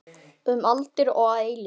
Um aldir og að eilífu.